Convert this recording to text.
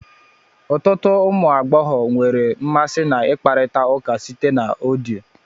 Ọtụtụ ụmụ agbọghọ nwere mmasị na ikparita ụka site na vidio